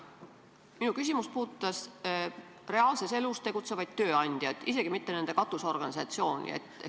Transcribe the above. Minu küsimus puudutas reaalses elus tegutsevaid tööandjaid, isegi mitte nende katusorganisatsioone.